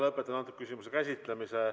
Lõpetan selle küsimuse käsitlemise.